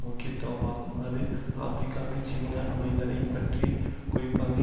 முக்கியத்தவமாகும் அது ஆபிரிக்காவில் சீனா நுழைதலை பற்றி குறிப்பாக